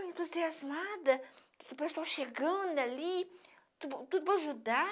Tão entusiasmada, com o pessoal chegando ali, tudo tudo para ajudar.